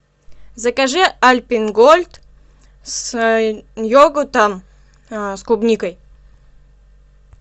закажи альпен голд с йогуртом с клубникой